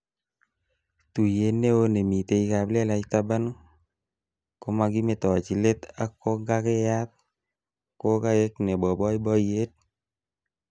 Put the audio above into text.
Tuiyet neo nemitei kaplelach taban komakimetochi let ak konkangeyat kokaek nebo boiboiyet